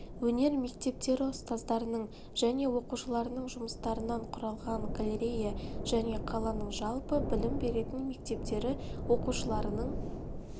өнер мектептері ұстаздарының және оқушыларының жұмыстарынан құралған галерея және қаланың жалпы білім беретін мектептері оқушыларының